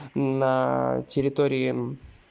на территории